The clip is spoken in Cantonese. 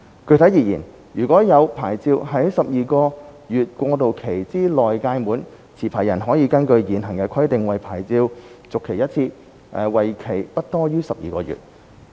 具體而言，如現有牌照在12個月過渡期之內屆滿，持牌人可根據現行規定為牌照續期一次，為期不多於12個月。